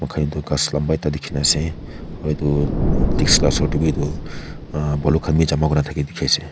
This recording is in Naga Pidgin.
toh ghas lamba ekta dikhina ase aru etu taxi la osor de b etu baloo khan b jama kuri na thake dikhi ase.